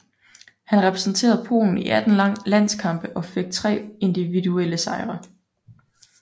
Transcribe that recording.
Han repræsenterede Polen i 18 landskampe og fik tre individuelle sejre